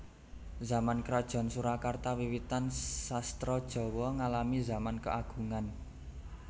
Zaman krajan Surakarta wiwitan sastra Jawa ngalami zaman keagungan